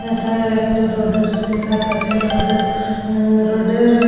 এটা একটা রোডে সিন্ দেখাচ্ছে রোডের রোডের --